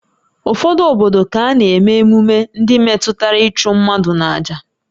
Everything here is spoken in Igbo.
Ụfọdụ obodo ka na-eme emume ndị metụtara ịchụ mmadụ n'àjà